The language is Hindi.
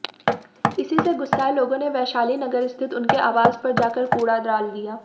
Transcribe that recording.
इसी से गुस्साए लोगों ने वैशाली नगर स्थित उनके आवास पर जाकर कूड़ा डाल दिया